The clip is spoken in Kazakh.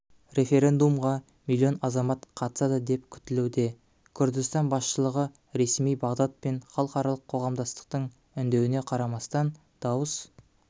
референдумға миллион азамат қатысады деп күтілуде күрдістан басшылығы ресми бағдад пен халықаралық қоғамдастықтың үндеуіне қарамастан дауыс